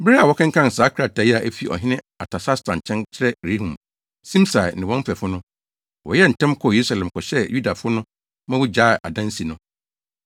Bere a wɔkenkan saa krataa a efi ɔhene Artasasta nkyɛn kyerɛɛ Rehum, Simsai ne wɔn mfɛfo no, wɔyɛɛ ntɛm kɔɔ Yerusalem kɔhyɛɛ Yudafo no ma wogyaee adansi no.